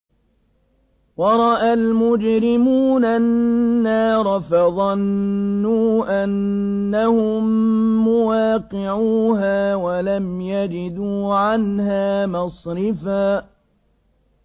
وَرَأَى الْمُجْرِمُونَ النَّارَ فَظَنُّوا أَنَّهُم مُّوَاقِعُوهَا وَلَمْ يَجِدُوا عَنْهَا مَصْرِفًا